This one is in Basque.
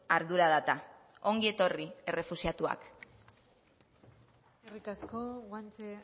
ardura da eta ongi etorri errefuxiatuak eskerrik asko guanche